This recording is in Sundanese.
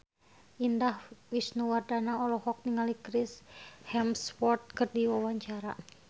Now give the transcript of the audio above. Indah Wisnuwardana olohok ningali Chris Hemsworth keur diwawancara